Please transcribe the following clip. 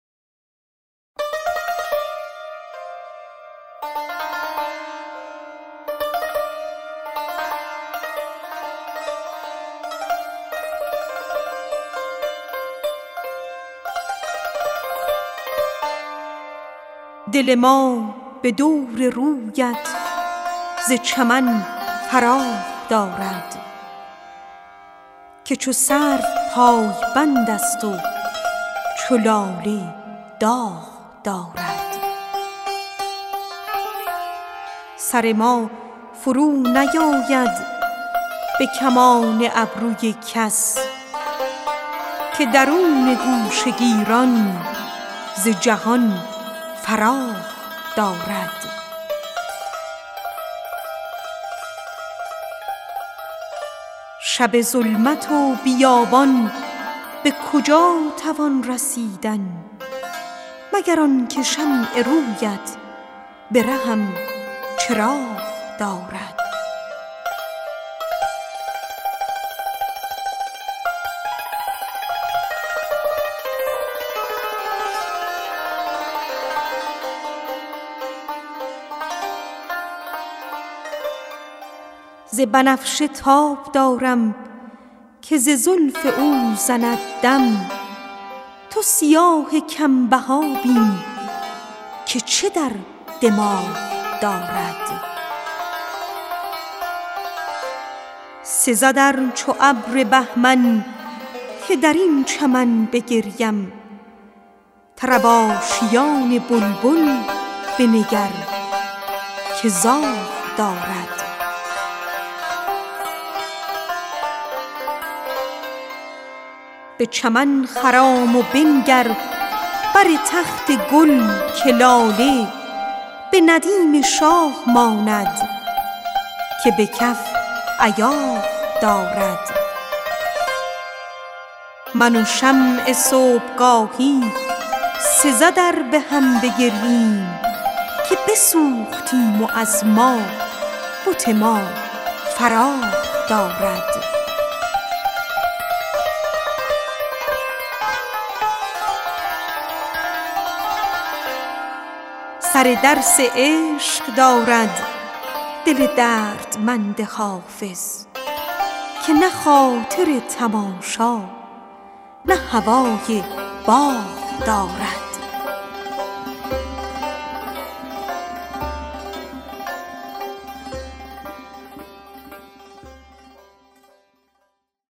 دل ما به دور رویت ز چمن فراغ دارد که چو سرو پایبند است و چو لاله داغ دارد سر ما فرونیآید به کمان ابروی کس که درون گوشه گیران ز جهان فراغ دارد ز بنفشه تاب دارم که ز زلف او زند دم تو سیاه کم بها بین که چه در دماغ دارد به چمن خرام و بنگر بر تخت گل که لاله به ندیم شاه ماند که به کف ایاغ دارد شب ظلمت و بیابان به کجا توان رسیدن مگر آن که شمع روی ات به رهم چراغ دارد من و شمع صبح گاهی سزد ار به هم بگرییم که بسوختیم و از ما بت ما فراغ دارد سزدم چو ابر بهمن که بر این چمن بگریم طرب آشیان بلبل بنگر که زاغ دارد سر درس عشق دارد دل دردمند حافظ که نه خاطر تماشا نه هوای باغ دارد